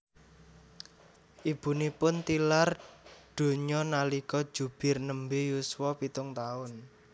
Ibunipun tilar donya nalika Zubir nembe yuswa pitung taun